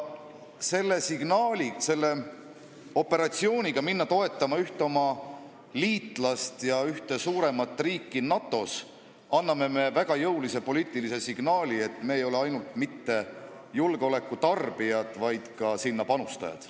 Selle otsusega minna toetama ühte oma liitlast ja ühte suurimat riiki NATO-s annab Eesti väga jõulise poliitilise signaali, et me ei ole ainult mitte julgeoleku tarbijad, vaid ka sellesse panustajad.